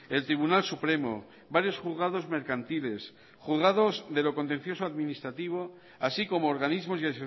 el tribunal supremo varios juzgados mercantiles juzgados de lo contencioso administrativo así como organismos y